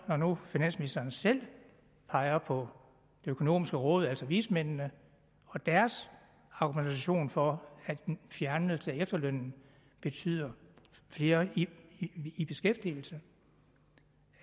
når nu finansministeren selv peger på det økonomiske råd altså vismændene og deres argumentation for at en fjernelse af efterlønnen betyder flere i i beskæftigelse